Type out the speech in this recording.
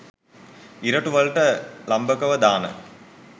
ඉරටු වලට ලම්භකව දාන